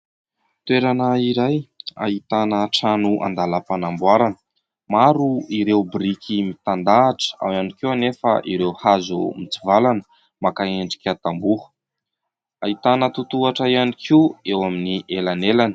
Toerana iray ahitana trano an-dalam-panamboarana. Maro ireo biriky mitandahatra, ao ihany koa anefa ireo hazo mitsivalana maka endrika tamboho. Ahitana totohatra ihany koa eo amin'ny elanelany.